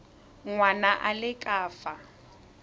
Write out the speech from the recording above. ngwana a le ka fa